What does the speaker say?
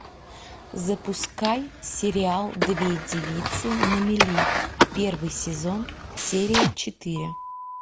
запускай сериал две девицы на мели первый сезон серия четыре